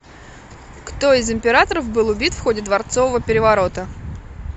кто из императоров был убит в ходе дворцового переворота